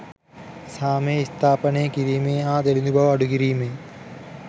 සාමය ස්ථාපානය කිරීමේ හා දිළිඳු බව අඩුකිරීමේ